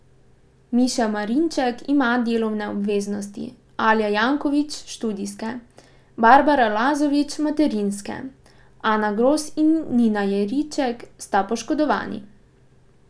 Miša Marinček ima delovne obveznosti, Alja Janković študijske, Barbara Lazović materinske, Ana Gros in Nina Jeriček sta poškodovani.